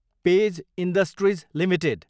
page Industries Ltd